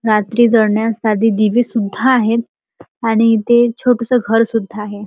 रात्री जळण्यास साधे दिवे सुद्धा आहेत आणि इथे छोटेसे घर सुद्धा आहे.